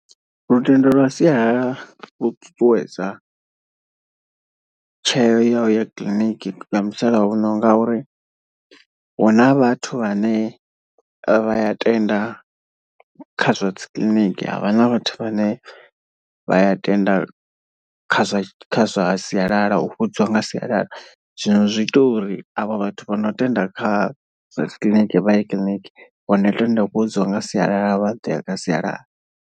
Lutendo lwa sialala lu ṱuṱuwedza tsheo ya uya kiḽiniki ya musalauno ngauri huna vhathu vhane vha ya tenda kha zwa dzikiḽiniki. Havha na vhathu vhane vha ya tenda kha zwa kha zwa sialala u fhodziwa nga sialala. Zwino zwi ita uri avho vhathu vha no tenda kha zwa dzikiḽiniki vha ye kiḽiniki vho no tenda u fhodziwa nga sialala vha ḓo ya sialala.